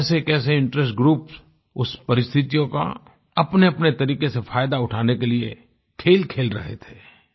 कैसेकैसे interest groups उस परिस्थितियों का अपनेअपने तरीके से फ़ायदा उठाने के लिए खेल खेल रहे थे